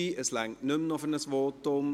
Es reicht nicht mehr für ein weiteres Votum.